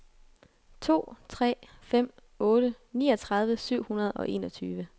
to tre fem otte niogtredive syv hundrede og enogtyve